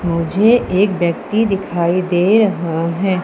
मुझे एक व्यक्ति दिखाई दे रहा है।